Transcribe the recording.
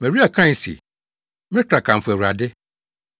Maria kae se, “Me kra kamfo Awurade.